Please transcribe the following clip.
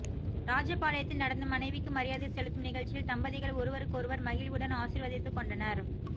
ராஜபாளையத்தில் நடந்த மனைவிக்கு மரியாதை செலுத்தும் நிகழ்சியில் தம்பதிகள் ஒருவருக்கொருவர் மகிழ்வுடன் ஆசிர்வதித்து கொண்டனர்